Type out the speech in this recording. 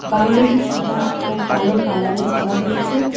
বাংলোটি সাদা ও কালো কালারের করা হয়েছে।